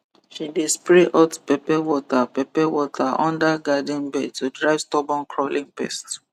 she dey spray hot pepper water pepper water under garden bed to drive stubborn crawling pest